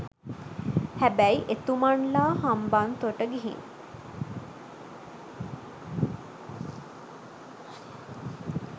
හැබැයි එතුමන්ලා හම්බන්තොට ගිහින්